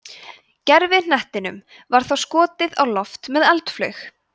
gervihnettinum var þá skotið á loft með eldflaug